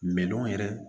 Mɛ nɔnɔ yɛrɛ